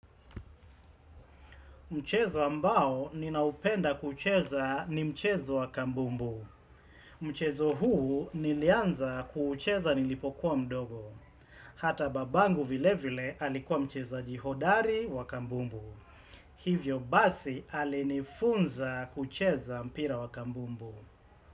Mchezo ambao ninaupenda kucheza ni mchezo wa kambumbu. Mchezo huu nilianza kucheza nilipokuwa mdogo. Hata babangu vile vile alikuwa mchezaji hodari wa kambumbu. Hivyo basi alinifunza kucheza mpira wa kambumbu.